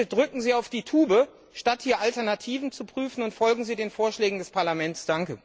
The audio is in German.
Bitte drücken Sie auf die Tube, statt hier Alternativen zu prüfen, und folgen Sie den Vorschlägen des Parlaments!